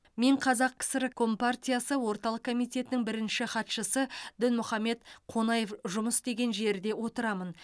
мен қазақ кср компартиясы орталық комитетінің бірінші хатшысы дінмұхаммед қонаев жұмыс істеген жерде отырамын